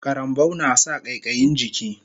Karambau nasa ƙaiƙayin jiki